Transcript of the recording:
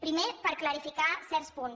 primer per clarificar certs punts